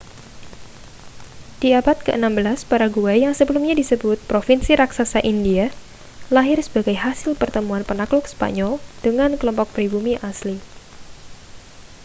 di abad ke-16 paraguay yang sebelumnya disebut provinsi raksasa hindia lahir sebagai hasil pertemuan penakluk spanyol dengan kelompok pribumi asli